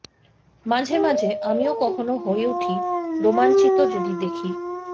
মাঝে মাঝে আমিও কখনো হয়ে উঠি রোমাঞ্চিত যদি দেখি